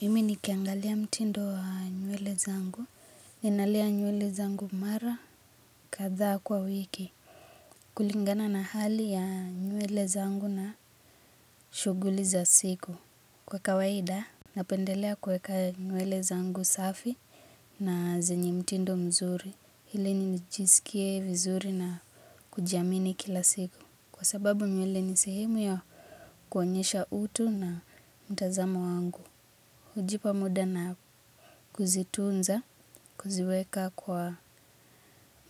Mimi nikiangalia mtindo wa nywele zangu ninalea nywele zangu mara kadhaa kwa wiki. Kulingana na hali ya nywele zangu na shuguli za siku. Kwa kawaida, napendelea kweka nywele zangu safi na zenye mtindo mzuri. Ili nijisikie vizuri na kujiamini kila siku. Kwa sababu nywele ni sehemu ya kuonyesha utu na mtazamo wangu. Kujipa muda na kuzitunza kuziweka kwa